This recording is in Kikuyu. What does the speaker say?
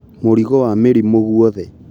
Mũrigo wa mĩrimũ guothe